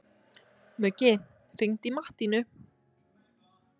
Muggi, hringdu í Mattínu.